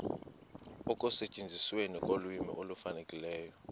ekusetyenzisweni kolwimi olufanelekileyo